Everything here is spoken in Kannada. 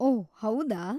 ಓಹ್‌ , ಹೌದಾ.